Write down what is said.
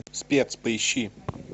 спец поищи